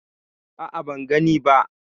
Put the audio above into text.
A'a, ban gani ba.